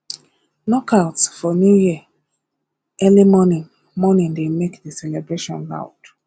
knockouts for new year early morning morning dey make the celebration loud